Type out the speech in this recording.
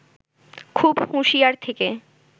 খুব হুঁশিয়ার থেকে